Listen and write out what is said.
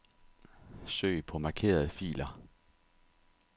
Søg på markerede filer.